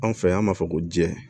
Anw fɛ yan b'a fɔ ko jɛ